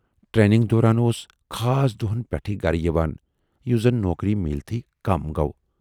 ٹرینِگہِ دوران اوس خاص دۅہَن پٮ۪ٹھٕے گَرٕ یِوان، یُس زَن نوکری میٖلتھٕے کَم گَو۔